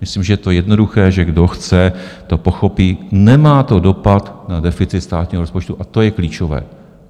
Myslím, že to je jednoduché, že kdo chce, to pochopí - nemá to dopad na deficit státního rozpočtu, a to je klíčové.